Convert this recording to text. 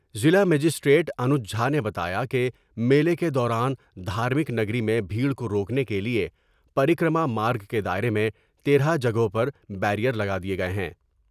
ضلع مجسٹریٹ انوج جھانے بتایا کہ میلے کے دوران دھارمک نگری میں بھیٹر کو روکنے کے لئے پریکر ما مارگ کے دائرے میں تیرہ جگہوں پر بیرئر لگا دئے گئے ہیں ۔